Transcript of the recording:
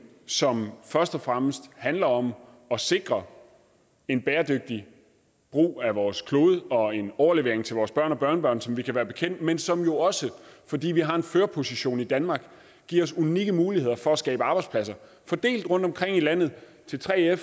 som først og fremmest handler om at sikre en bæredygtig brug af vores klode og en overlevering til vores børn og børnebørn som vi kan være bekendt men som jo også fordi vi har en førerposition i danmark giver os unikke muligheder for at skabe arbejdspladser fordelt rundtomkring i landet til 3fere